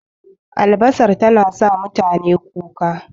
Albasar tana sa mutane kuka